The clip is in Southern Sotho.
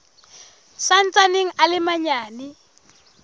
sa ntsaneng a le manyane